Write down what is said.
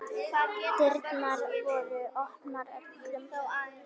Dyrnar voru opnar öllum.